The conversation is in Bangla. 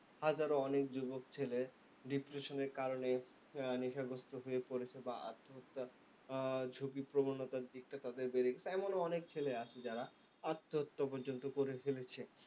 হাজারো অনেক যুবক ছেলে depression এর কারনে নেশাগ্রস্ত হয়ে পড়েছে বা আত্মহত্যা আহ ঝুকিপ্রবণতার দিকটা বেড়ে গেছে। এমনও অনেক ছেলে আছে যারা আত্মহত্যা পর্যন্ত করে ফেলেছে।